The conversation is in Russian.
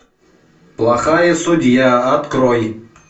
плохая судья открой